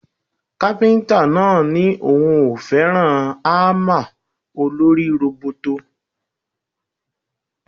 Kápíntà náà ní òun ò fẹ́ràn ámà olórí róbótó